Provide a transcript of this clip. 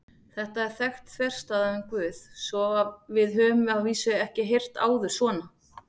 Þetta er þekkt þverstæða um Guð sem við höfum að vísu ekki heyrt áður svona.